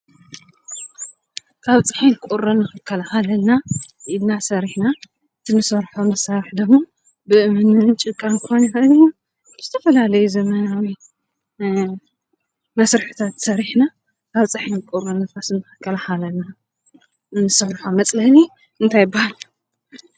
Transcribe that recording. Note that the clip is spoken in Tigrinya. ካብ ፀሓይን ቁሪን ንኽከላከለልና ኢልና ሰሪሕና እቲ እንሰርሖ መሳርሒ ደሞ ብአምኒን ጭቃን ክኾን ይኽእል እዩ። ብዝተፈላለዩ ዘመናዊ እ መሰርሕታት ሰሪሕና ካብ ፀሓይን ቁሪን ንፋስን ንኽከላኸለልና እንሰርሖ መፅለሊ እንታይ ይባሃል?